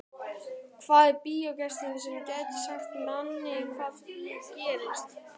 Hvaða bíógestur sem er gæti sagt manni hvað nú gerist.